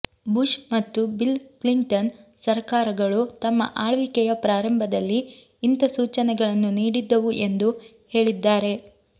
Bush ಮತ್ತು Bill Clinton ಸರಕಾರಗಳೂ ತಮ್ಮ ಆಳ್ವಿಕೆಯ ಪ್ರಾರಂಭದಲ್ಲಿ ಇಂಥ ಸೂಚನೆಗಳನ್ನು ನೀಡಿದ್ದವು ಎಂದು ಹೇಳಿದ್ದಾರೆ